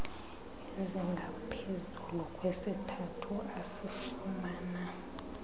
ezingaphezu kwesithathu asifumana